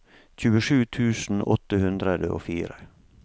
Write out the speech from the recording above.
tjuesju tusen åtte hundre og fire